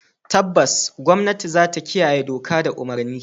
Tabbas gwamnati zata kiyaye doka da umurni.